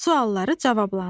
Sualları cavablandır.